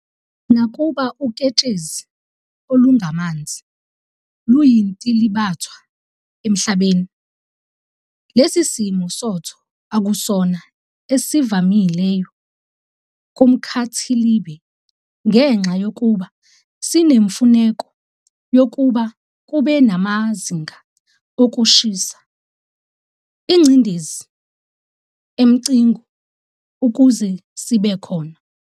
Nakuba uketshezi olungamanzi luyintilibathwa emhlabeni, lesi simo sotho akusona esivamileyo kumkhathilibe, ngenxa yokuba sinemfuneko yokuba kube namazinga okushisa, ingceindezi emqingo ukuze sibe khona.